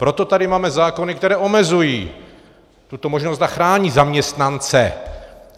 Proto tady máme zákony, které omezují tuto možnost a chrání zaměstnance.